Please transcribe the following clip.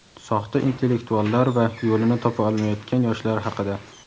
soxta intellektuallar va yo‘lini topa olmayotgan yoshlar haqida.